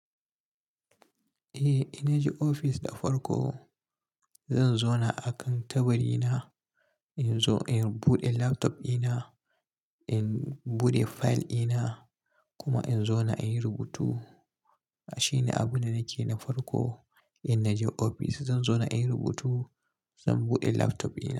Eh, in naje ofis da farko zan zauna akan tabarina, in zo in buɗe laptop dina, in buɗe fayil dina kuma in zauna in yi rubutu. Shine abunda nake yi na farko in naje ofis. Zan zauna in yi rubutu, zan buɗe laptop dina.